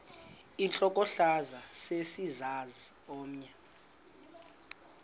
intlokohlaza sesisaz omny